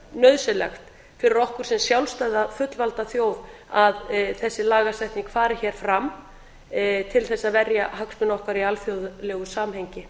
nauðsynlegt fyrir okkur sem sjálfstæða fullvalda þjóð að þessi lagasetning fari hér fram til þess að verja hagsmuni okkar í alþjóðlegu samhengi